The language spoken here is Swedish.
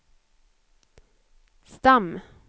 stam